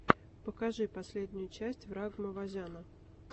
покажи последнюю часть ваграма вазяна